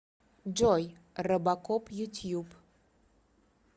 джой робокоп ютьюб